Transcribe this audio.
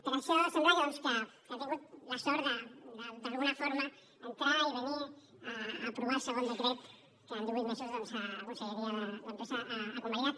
per això sembla que doncs ha tingut la sort d’alguna forma d’entrar i venir a aprovar el segon decret que en divuit mesos doncs la conselleria d’empresa ha convalidat